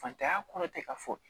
Fatanya kɔnɔ tɛ ka fɔ